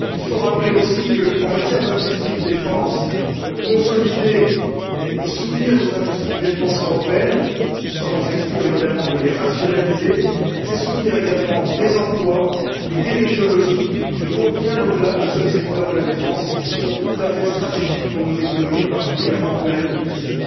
Il faut aussi rappeler qu'en matière d'industrie de défense, consolider et soutenir nos industries de défense européennes sans exclure évidemment de les rationaliser c'est soutenir également des emplois et des technologies qui vont bien au delà du seul secteur de la défense et qui sont tout à fait stratégiques pour nos économies, particulièrement en période de crise.